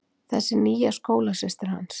Þessi nýja skólasystir hans.